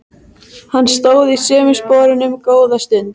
Hann stóð í sömu sporunum góða stund.